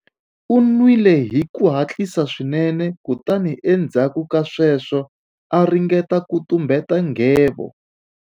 U nwile hi ku hatlisa swinene kutani endzhaku ka sweswo a ringeta ku tumbeta nghevo.